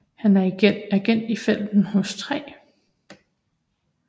Han er agent i felten hos 3